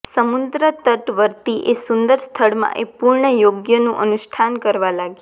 સમુદ્રતટવર્તી એ સુંદર સ્થળમાં એ પૂર્ણયોગનું અનુષ્ઠાન કરવા લાગ્યા